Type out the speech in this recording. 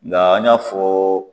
Nga an y'a fɔ